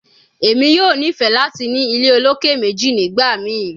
Emi yoo nifẹ lati ni ile oloke meji nigbamii